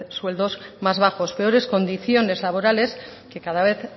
sueldos más bajos peores condiciones laborales que cada vez